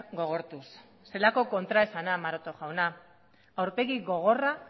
gogortuz zelako kontraesana maroto jauna aurpegi gogorra